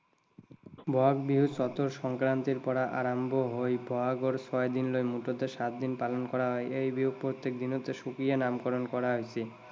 বহাগ বিহু চতৰ সংক্ৰান্তিৰ পৰা বহাগৰ ছয় দিনলৈ মুঠ সাত দিন পালন কৰা হয়। এই বিহু প্ৰত্যেক দিনতে সুকীয়া নামকৰণ কৰা হৈছে।